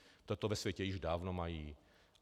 Toto ve světě již dávno mají.